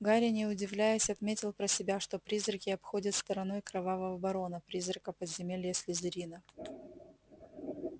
гарри не удивляясь отметил про себя что призраки обходят стороной кровавого барона призрака подземелья слизерина